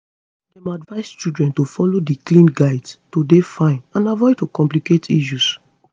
dem advise children to follow di clean guides to dey fine and avoid to complicate issues